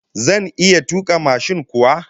Zan iya tuka mashin kuwa?